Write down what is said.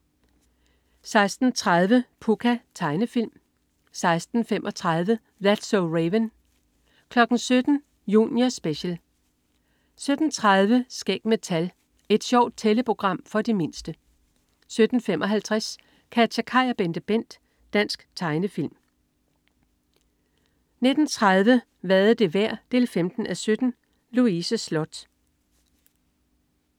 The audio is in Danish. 16.30 Pucca. Tegnefilm 16.35 That's so Raven 17.00 Junior Special 17.30 Skæg med tal. Et sjovt tælleprogram for de mindste 17.55 KatjaKaj og BenteBent. Dansk tegnefilm 19.30 Hvad er det værd? 15:17. Louise Sloth